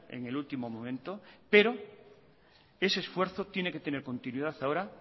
en el último momento pero ese esfuerzo tiene que tener continuidad ahora